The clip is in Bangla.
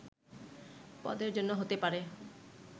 পদের জন্য হতে পারে”